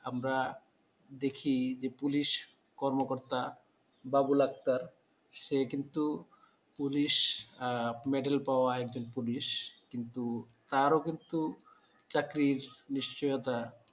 আমরা দেখি যে পুলিশ কর্মকর্তা বাবুল আক্তার সে কিন্তু police medal পাওয়া একজন police কিন্তু তারও কিন্তু চাকরির নিশ্চয়তা